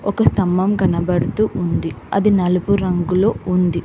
ఒక స్తంభం కనబడుతూ ఉంది అది నలుపు రంగులో ఉంది.